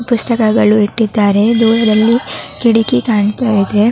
ಪುಸ್ತಕಗಳು ಇಟ್ಟಿದ್ದಾರೆ. ದೂರದಲ್ಲಿ ಕಿಟಕಿ ಕಾಣ್ತಾ ಇದೆ.